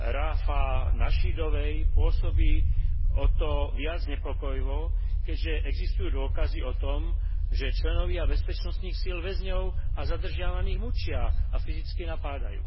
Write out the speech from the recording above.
Rafáh Nášidovej, pôsobí o to viac znepokojivo, keďže existujú dôkazy o tom, že členovia bezpečnostných síl väzňov a zadržiavaných mučia a fyzicky napádajú.